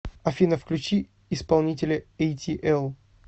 афина включи исполнителя эйтиэл